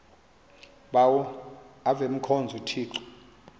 bawo avemkhonza uthixo